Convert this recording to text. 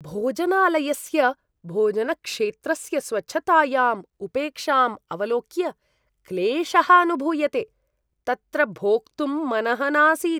भोजनालयस्य भोजनक्षेत्रस्य स्वच्छतायाम् उपेक्षाम् अवलोक्य क्लेशः अनुभूयते, तत्र भोक्तुं मनः नासीत्।